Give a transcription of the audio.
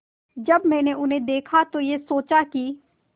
जब मैंने उन्हें देखा तो ये सोचा कि